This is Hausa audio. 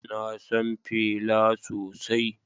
Na san Fela sosai